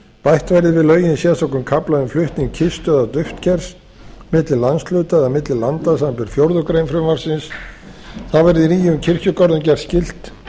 bætt verði við lögin sérstökum kafla um flutning kistu eða duftkers milli landshluta eða milli landa samanber fjórðu grein frumvarpsins þá verði nýjum kirkjugörðum gert skylt